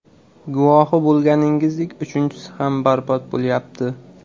Guvohi bo‘lganingizdek, uchinchisi ham barbod bo‘lyapti.